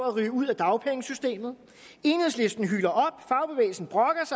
at ryge ud af dagpengesystemet enhedslisten hyler